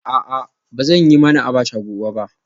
A'a ba zan yi mana abacha gobe ba